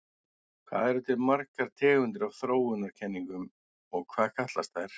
Hvað eru til margar tegundir af þróunarkenningum og hvað kallast þær?